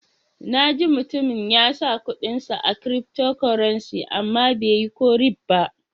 Na ji mutumin ya sa kudin sa a cryftocurrency, amma bai yi ko ribba.